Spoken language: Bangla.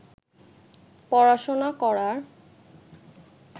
পড়াশোনা করার